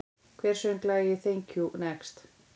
Hver söng lagið Thank you, next?